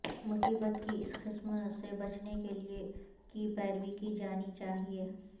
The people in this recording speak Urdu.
مصیبت کی اس قسم سے بچنے کے لئے کی پیروی کی جانی چاہئے